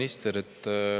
Hea minister!